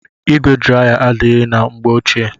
Igwe draya adaghi na mgbe ochie.